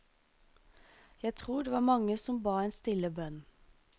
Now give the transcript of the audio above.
Jeg tror det var mange som ba en stille bønn.